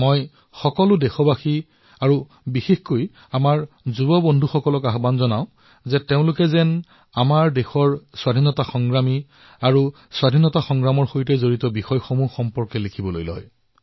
মই সকলো দেশবাসীক আৰু বিশেষকৈ আমাৰ যুৱ সতীৰ্থসকললৈ আহ্বান জনাইছো যে তেওঁলোকে দেশৰ স্বতন্ত্ৰতা সেনানীসকলৰ বিষয়ে স্বাধীনতাৰ সৈতে জড়িত ঘটনাসমূহৰ বিষয়ে যাতে লিখে